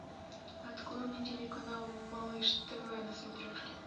открой мне телеканал малыш тв на смотрешке